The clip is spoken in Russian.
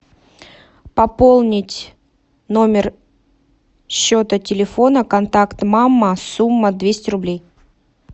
пополнить номер счета телефона контакт мама сумма двести рублей